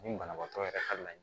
Nin banabaatɔ yɛrɛ ka laɲinɛ